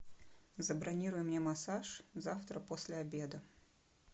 забронируй мне массаж завтра после обеда